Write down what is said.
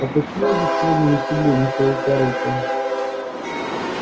а почему вы сегодня не в седле мистр тарлтон